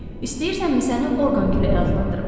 İstəyirsənmi səni orqan küləyi adlandırım?